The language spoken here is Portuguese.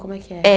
Como é que é? É